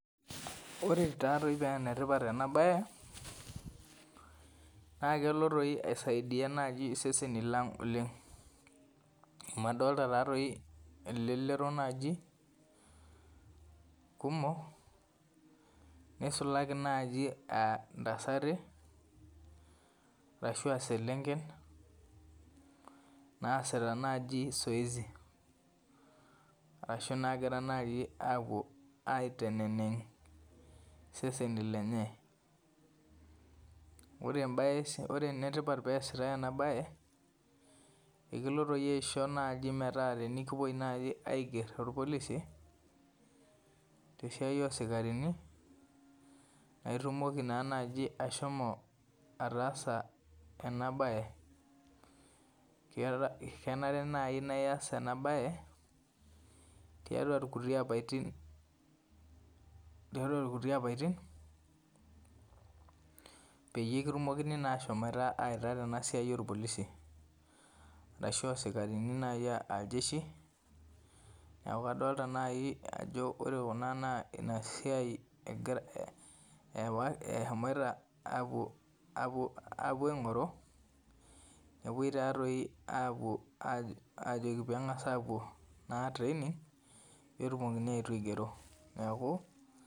Ore tatoi penetipat enabae, na kelo toi aisaidia naji iseseni lang oleng. Amu adolta tatoi elelero naji kumok, nisulaki naji ah intasati ashua selenken, naasita naji zoezi. Arashu nagira naji apuo aiteneneng' iseseni lenye. Ore ebae ore enetipat peesitai enabae, ekilo toi aisho naji metaa tenikipoi naji aiger torpolisi, tesiai osikarini, naitumoki naa naji ashomo ataasa enabae. Kenare nai naa ias enabae, tiatua kuti apatin, tiatua kuti apaitin peyie kitumokini naa ashomoita aita tenasiai orpolisi. Arashu osikarini nai ah iljeshi, neeku kadolta nai ajo ore kuna naa inasiai eshomoita apuo apuo aing'oru, nepoi tatoi apuo ajoki peng'as apuo naa training, petumokini aetu aigero. Neeku